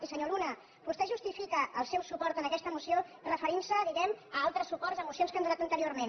i senyor luna vostè justifica el seu suport a aquesta moció referint se diguem ne a altres suports a mocions que han donat anteriorment